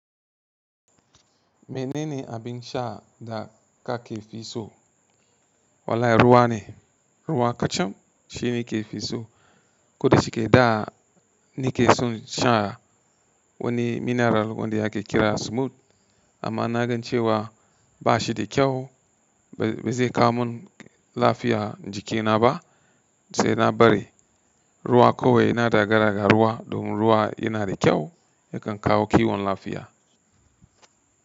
Mene ne abin sha da ka ke fi so? Wallahi ruwa ne. Ruwa kacan shine ke fi so. Koda shike da ni ke son sha wani mineral wanda yake kira Smooth. Amma na gan cewa ba shi da kyau. Ba zai kawo mun lafiya jikina ba sai na bari ruwa kawai. Ina daga daga ruwa domin ruwa yana da kyau, yakan kawo kiwon lafiya.